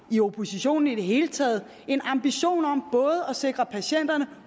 i oppositionen i det hele taget en ambition om at sikre patienterne